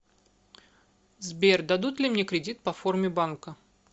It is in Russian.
сбер дадут ли мне кредит по форме банка